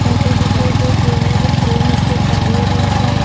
certificate जो है उसका फ्रेम उसका काले रंग का--